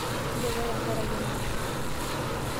Inchopo tenkaraki emasho?